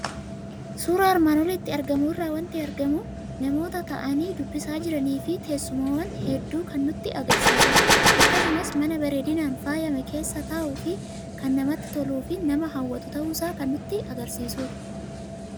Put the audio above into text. Suuraa armaan olitti argamu irraa waanti argamu; namoota taa'ani dubbisaa jiranifi teessumawwan hedduu kan nutti agarsiisudha. Akkasumas mana bareedinan faayamee keessa taa'uuf kan namatti tolufi nama hawwatu ta'uusaa kan nutti agarsiisudha.